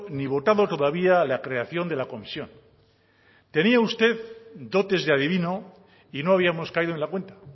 ni votado todavía la creación de la comisión tenía usted dotes de adivino y no habíamos caído en la cuenta